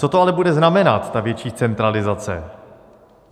Co to ale bude znamenat, ta větší centralizace?